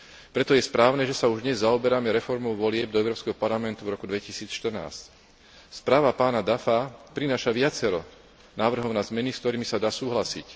Preto je správne, že sa už dnes zaoberáme reformou volieb do Európskeho parlamentu v roku 2014. Správa pána Duffa prináša viacero návrhov na zmeny, s ktorými sa dá súhlasiť.